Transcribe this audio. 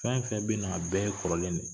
Fɛn fɛn bɛna a bɛɛ ye kɔrɔlen dɛ ye